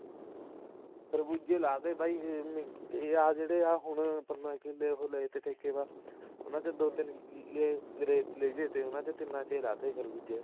ਖਰਬੂਜੇ ਲਾ ਤੇ ਬਾਈ ਜਾਂ ਜਿਹੜੇ ਹੁਣ ਪੰਦਰਾਂ ਕਿੱਲੇ ਲਾਏ ਤੇ ਠੇਕੇ ਪਾ ਉਹਨਾ ਚੋਂ ਦੋ ਤਿੰਨ ਰੇਤੀਏ ਜੇ ਤੇ ਉਹਨਾ ਚ ਲਾਤੇ ਖਰਬੂਜੇ